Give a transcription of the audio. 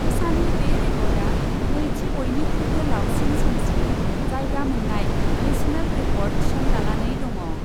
उषानि बे रेकर्डआ नैथि बयनिख्रुइबो लावसिन समसिम जायगा मोन्नाय नेसनेल रेकर्ड थिसनजानानै दङ।